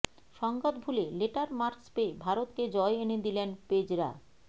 সংঘাত ভুলে letter marks পেয়ে ভারতকে জয় এনে দিলেন পেজরা